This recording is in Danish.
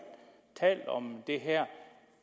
talt om det her